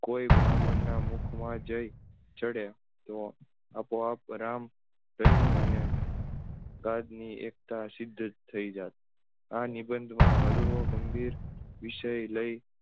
કોઈ બ્રાહ્મણ ના મુખમાં જઈ ચડે તો આપોઆપ રામ રહી અને એકતા સિદ્ધ થઇ જાત આ નિબંધમાં હળવો ગમ્ભીર વિષય લઇ